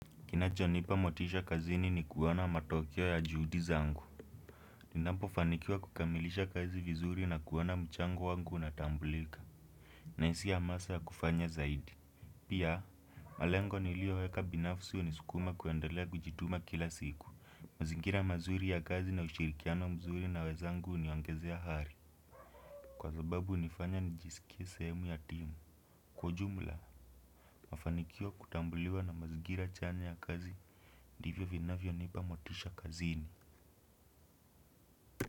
Kina chonipa motisha kazini ni kuona matokeo ya juhudi zangu ninapofanikiwa kukamilisha kazi vizuri na kuona mchango wangu unatambulika. Na isi yamasa ya kufanya zaidi. Pia, malengo nilioweka binafsi unisukuma kuendelea kujituma kila siku. Mazingira mazuri ya kazi na ushirikiano mzuri na wezangu uniongezea hari. Kwa zababu unifanya nijisikie sehemu ya timu. Kwa ujumla, mafanikio kutambuliwa na mazigira chanya ya kazi divyo vinavyo nipa motisha kazini.